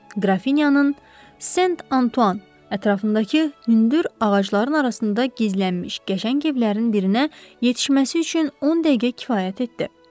Qrafinyanın Sen Antuan ətrafındakı hündür ağacların arasında gizlənmiş qəşəng evlərin birinə yetişməsi üçün 10 dəqiqə kifayət etdi.